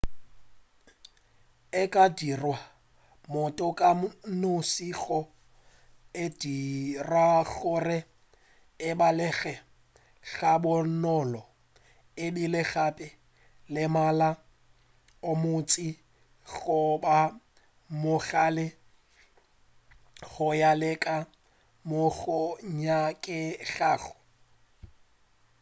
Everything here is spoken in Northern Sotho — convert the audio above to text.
e ka direlwa motho ka noši go e dira gore e balege ga bonolo ebile gape le mmala o montši goba o monnyane go ya le ka moo go nyakegago